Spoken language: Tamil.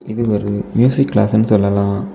இது ஒரு மியூசிக் கிளாஸ்னு சொல்லலாம்.